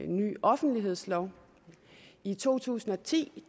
ny offentlighedslov i to tusind og ti